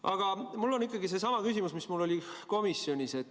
Aga mul on ikkagi seesama küsimus, mis mul oli komisjonis.